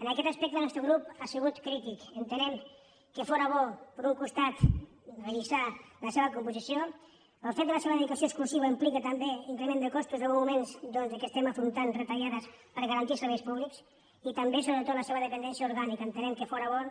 en aquest aspecte el nostre grup ha sigut crític entenent que fóra bo per un costat revisar la seva composició però el fet de la seva dedicació exclusiva implica també increment de costos en uns moments doncs que estem afrontant retallades per garantir els serveis públics i també sobretot la seva dependència orgànica entenent que fóra bo